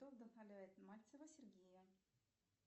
кто вдохновляет мальцева сергея